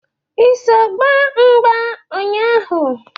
I so gbaa mgba nnya ahụ?